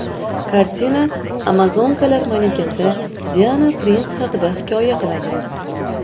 Kartina amazonkalar malikasi Diana Prins haqida hikoya qiladi.